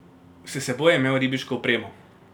S seboj je imel ribiško opremo.